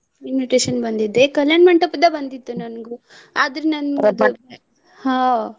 Invitation ಬಂದಿದೆ ಕಲ್ಯಾಣ ಮಂಟಪದ್ದ ಬಂದಿದ್ದು ನನ್ಗು ಆದ್ರೆ ನನ್ಗ್ ಅದು ಹಾ.